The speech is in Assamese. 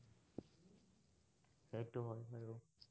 সেইটো হয় উম